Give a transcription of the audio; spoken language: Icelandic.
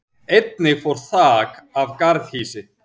Einnig fór þak af garðhýsi